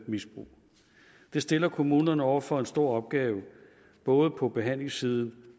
misbrug det stiller kommunerne over for en stor opgave både på behandlingssiden